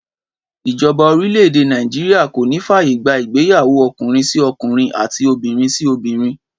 Ìjoba orílè̩-èdè Nàìjíríà kò ní fàyè gbà ìgbéyàwó o̩kùnrin-sí-o̩kùnrin àti obìnrin-sí-obìnrin